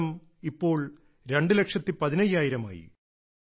ഈ എണ്ണം ഇപ്പോൾ രണ്ടുലക്ഷത്തി പതിനയ്യായിരമായി